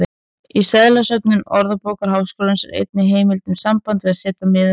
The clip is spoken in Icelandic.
Í seðlasöfnum Orðabókar Háskólans er engin heimild um sambandið að setja miðið hátt.